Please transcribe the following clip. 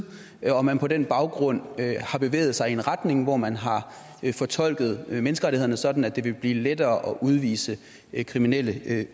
og at man på den baggrund har bevæget sig i en retning hvor man har fortolket menneskerettighederne sådan at det ville blive lettere at udvise kriminelle